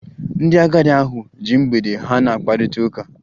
Ndị agadi ahụ ji mgbede ha na-akparịta ụka